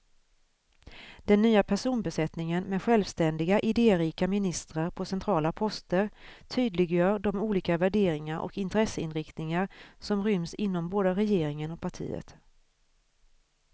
Den nya personbesättningen med självständiga, idérika ministrar på centrala poster tydliggör de olika värderingar och intresseinriktningar som ryms inom både regeringen och partiet.